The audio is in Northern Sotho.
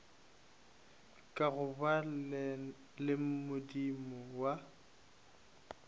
ka gobane le modumo wa